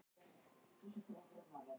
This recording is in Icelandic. Fékk fiðlu frá hollenskum sjóði